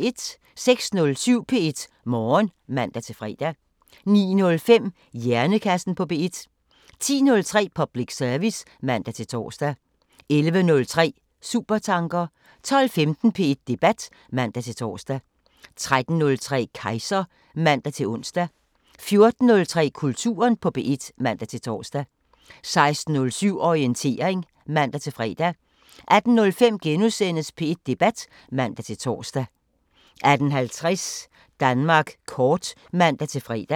06:07: P1 Morgen (man-fre) 09:05: Hjernekassen på P1 10:03: Public service (man-tor) 11:03: Supertanker 12:15: P1 Debat (man-tor) 13:03: Kejser (man-ons) 14:03: Kulturen på P1 (man-tor) 16:07: Orientering (man-fre) 18:05: P1 Debat *(man-tor) 18:50: Danmark kort (man-fre)